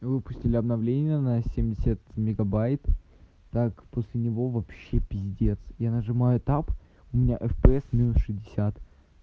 выпустили обновления на семьдесят мегабайт так после него вообще пиздец я нажимаю таб у меня фпс минус шестьдесят